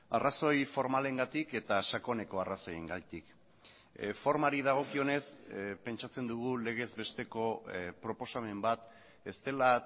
arrazoi formalengatik eta sakoneko arrazoiengatik formari dagokionez pentsatzen dugu legez besteko proposamen bat ez dela